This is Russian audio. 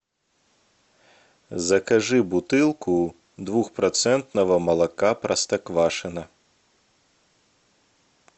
закажи бутылку двухпроцентного молока простоквашино